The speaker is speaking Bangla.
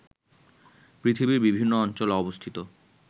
পৃথিবীর বিভিন্ন অঞ্চলে অবস্থিত